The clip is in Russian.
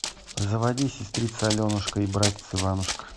заводи сестрица аленушка и братец иванушка